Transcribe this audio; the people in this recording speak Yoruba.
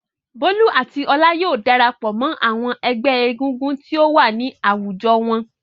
Bólú àti Ọlá yóò dara pọ̀ mọ́ àwọn ẹgbẹ́ egúngún tí ó wà ní àwùjọ wọn.